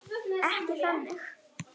Ekki þannig.